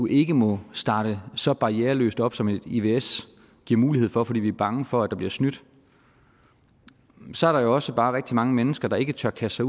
ikke må starte så barriereløst op som et ivs giver mulighed for fordi vi er bange for at der bliver snydt så er der jo også bare rigtig mange mennesker der ikke tør kaste